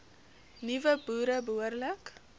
nuwe boere behoorlik